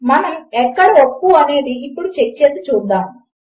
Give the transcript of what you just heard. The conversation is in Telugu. మనము ఎక్కడ ఒప్పు అనేది ఇప్పుడు చెక్ చేసి చూద్దాము